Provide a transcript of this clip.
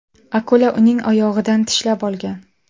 Akula uning oyog‘idan tishlab olgan.